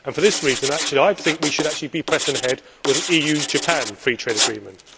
For this reason, I think we should actually be pressing ahead with an EU Japan free trade agreement.